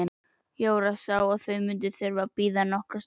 Jóra sá að þau mundu þurfa að bíða nokkra stund.